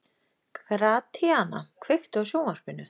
Gratíana, kveiktu á sjónvarpinu.